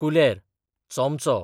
कुलेर, चोमचो